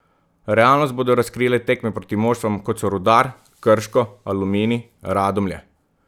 Realnost bodo razkrile tekme proti moštvom, kot so Rudar, Krško, Aluminij, Radomlje.